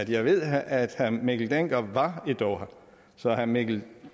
jeg ved at herre mikkel dencker var i doha så herre mikkel